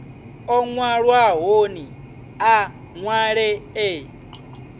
o nwalwahoni a nwale e